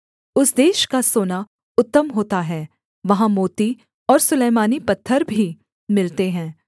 उस देश का सोना उत्तम होता है वहाँ मोती और सुलैमानी पत्थर भी मिलते हैं